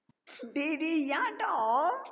டேய் டேய் ஏன்டா